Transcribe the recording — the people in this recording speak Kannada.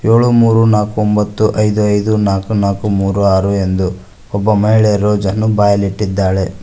ಏಳು ಮೂರು ನಾಲ್ಕು ಒಂಬತ್ತು ಐದು ಐದು ನಾಲ್ಕು ನಾಲ್ಕು ಮೂರು ಆರು ಎಂದು ಒಬ್ಬ ಮಹಿಳೆಯರು ಜನರ ಬಾಯಲ್ಲಿ ಇಟ್ಟಿದ್ದಾಳೆ.